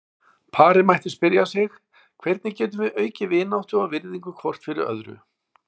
Parið mætti spyrja sig: Hvernig getum við aukið vináttu og virðingu hvort fyrir öðru?